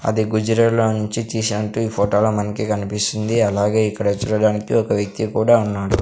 అది గుజరా లో నుంచి తీసినట్టు ఫోటో లో మనకి కనిపిస్తుంది అలాగే ఇక్కడ చూడడానికి ఒక వ్యక్తి కూడా ఉన్నాడు.